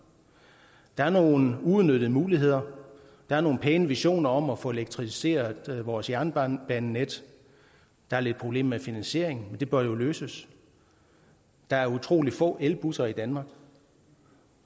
der er nogle uudnyttede muligheder der er nogle pæne visioner om at få elektrificeret vores jernbanenet der er lidt problemer med finansieringen men det bør jo løses der er utrolig få elbusser i danmark